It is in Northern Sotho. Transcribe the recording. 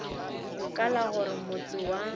ka la gore motse wa